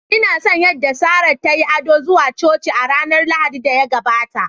Ina son yadda Sarah ta yi ado zuwa Coci a ranar Lahadin da ya gabata